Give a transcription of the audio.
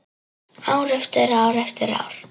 Ár eftir ár eftir ár.